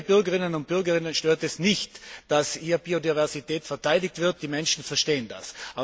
Viele Bürgerinnen und Bürger stört es nicht, dass Biodiversität verteidigt wird, die Menschen verstehen das.